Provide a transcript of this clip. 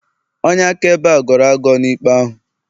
onye akaebe a gọrọ agọ na ikpe ahụ